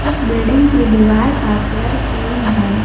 इस बिल्डिंग की दीवार का कलर क्रीम है।